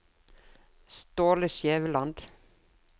Ståle Skjæveland